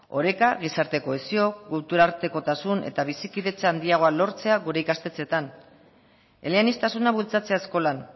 oreka gizarte kohesio kulturartekotasun eta bizikidetza handiagoa lortzea gure ikastetxeetan eleaniztasuna bultzatzea eskolan